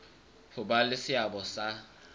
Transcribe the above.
ho ba le seabo sa